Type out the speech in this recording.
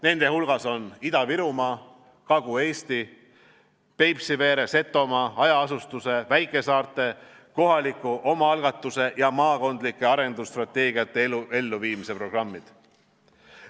Nende hulgas on Ida-Virumaa, Kagu-Eesti, Peipsiveere, Setomaa, hajaasustuse, väikesaarte, kohaliku omaalgatuse ja maakondlike arendusstrateegiate elluviimise programmid.